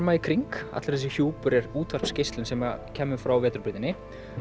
í kring allur þessi hjúpur er útvarpsgeislun sem kæmi frá vetrarbrautinni